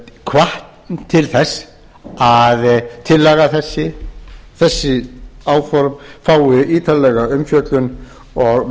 hvatt til þess að tillaga þessi þessi áform fái ítarlega umfjöllun og